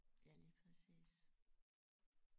Ja lige præcis